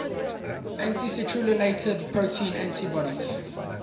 anti citrullinated protein antibodies